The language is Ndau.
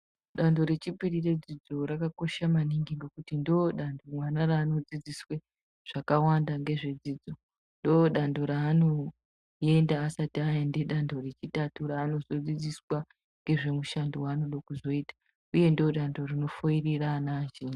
Danho rechipiri redzidzo rakakosha maningi ngekuti ndodanho mwana ranodzidziswe zvakawanda ngezvedzidzidzo ndodanho ranoenda asati aenda danho rechitatatu ranozodzidziswa ngezvemushando wanoda kuzoita uye ndodanho rinofoirira ana azhinji.